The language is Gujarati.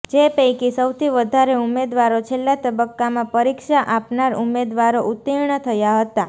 જે પૈકી સૌથી વધારે ઉમેદવારો છેલ્લા તબક્કામાં પરીક્ષા આપનાર ઉમેદવારો ઉતીર્ણ થયા હતા